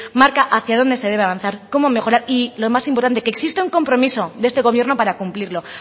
marca hacia dónde se debe avanzar cómo mejorar y lo más importante que existe un compromiso de este gobierno para cumplirlo